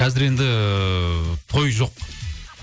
қазір енді той жоқ